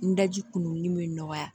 N daji kunun bɛ nɔgɔya